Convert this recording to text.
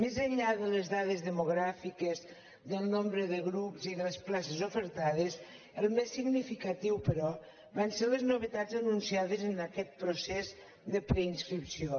més enllà de les dades demogràfiques del nombre de grups i de les places ofertades el més significatiu però van ser les novetats anunciades en aquest procés de preinscripció